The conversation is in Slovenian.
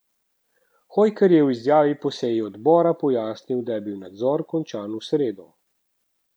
Hojker je v izjavi po seji odbora pojasnil, da je bil nadzor končan v sredo.